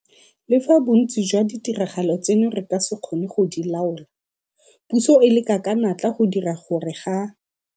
Le fa bontsi jwa ditiragalo tseno re ka se kgone go di laola, puso e leka ka natla go dira gore ga